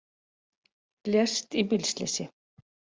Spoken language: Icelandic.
Lést í bílslysi